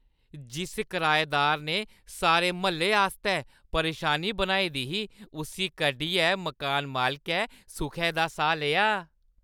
जिस कराएदार ने सारे म्हल्ले आस्तै परेशानी बनाई दी ही, उस्सी कड्ढियै मकान मालकै सुखै दा साह् लेआ ।